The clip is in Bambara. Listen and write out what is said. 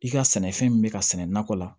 I ka sɛnɛfɛn min bɛ ka sɛnɛ nakɔ la